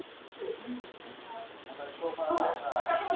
Verra var, að nyrsti hluti væntanlegs eftirlitssvæðis, Grænlandshaf, stóð